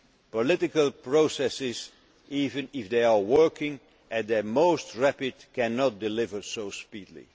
of a mouse. Political processes, even if they are working at their most rapid, cannot deliver